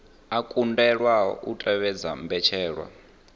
a kundelwa u tevhedza mbetshelwa